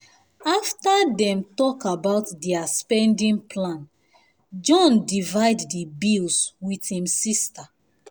afta dem talk about their spending plan john divide the bills with him sister